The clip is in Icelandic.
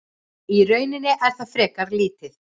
Í rauninni er það frekar lítið.